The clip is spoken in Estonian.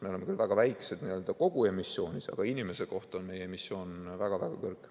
Me oleme küll väga väikesed kogu emissioonis, aga inimese kohta on meie emissioon väga-väga kõrge.